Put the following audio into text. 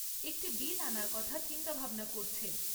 একটি বিল আনার কথা চিন্তাভাবনা করছে।